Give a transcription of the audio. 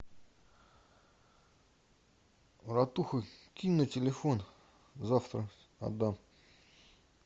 братуха скинь на телефон завтра отдам